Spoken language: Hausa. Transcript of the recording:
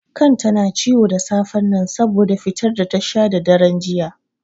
Kan ta na ciwo da safen nan saboda fitar da ta sha da daren juya.